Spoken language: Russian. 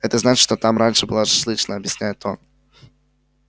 это значит что там раньше была шашлычная объясняет он